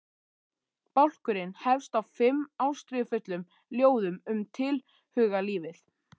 Bálkurinn hefst á fimm ástríðufullum ljóðum um tilhugalífið.